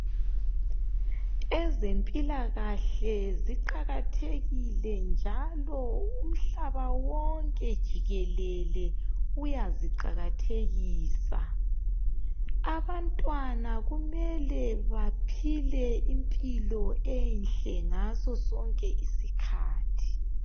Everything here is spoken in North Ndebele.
ezempilakahle ziqakathekile njalo umhlaba wonke jikelele uyaziqakathekisa abantwana kumele baphile impilo enhle ngaso sonke isikhathi